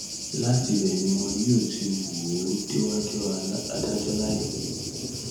láti ibẹ ni wọn yóò ti wò ó déwájú adájọ láìpẹ